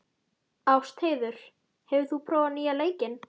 Ástheiður, hefur þú prófað nýja leikinn?